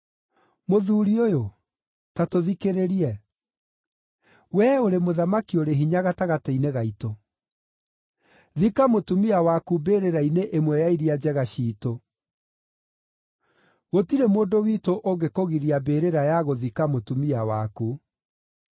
“Mũthuuri ũyũ, ta tũthikĩrĩrie. Wee ũrĩ mũthamaki ũrĩ hinya gatagatĩ-inĩ gaitũ. Thika mũtumia waku mbĩrĩra-inĩ ĩmwe ya iria njega ciitũ. Gũtirĩ mũndũ witũ ũngĩkũgiria mbĩrĩra ya gũthika mũtumia waku.”